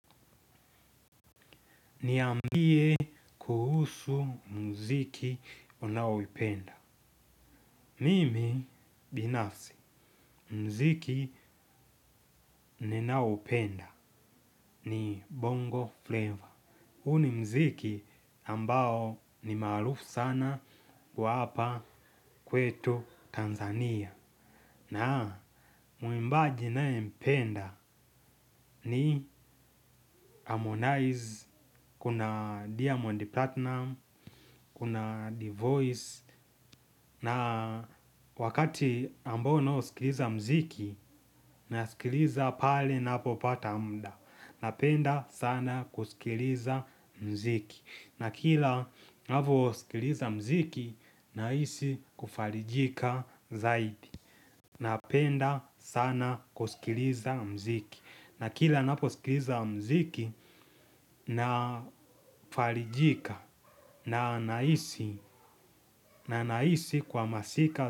Niambie kuhusu mziki unayoipenda. Mimi binafsi mziki ninaoupenda ni bongo flavor. Huu ni mziki ambao ni maarufu sana hapa kwetu Tanzania. Na mwimbaji nampenda ni harmonize kuna diamond platinum. Kuna divoice. Na wakati ambao naousikiliza mziki nausikiliza pale napopata mda. Napenda sana kusikiliza mziki. Na kila navosikiliza mziki nahisi kufalijika zaidi. Napenda sana kusikiliza mziki. Na kila naposikiliza mziki Nafalijika. Na nahisi, na nahisi kwa masika.